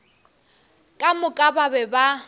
ka moka ba be ba